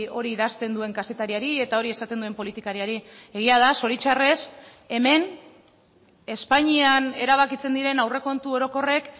hori idazten duen kazetariari eta hori esaten duen politikariari egia da zoritzarrez hemen espainian erabakitzen diren aurrekontu orokorrek